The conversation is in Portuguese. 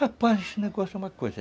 Rapaz, esse negócio é uma coisa.